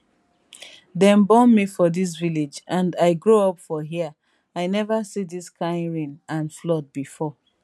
dem born me for dis village and i grow up for hia i neva see dis kain rain and flood bifor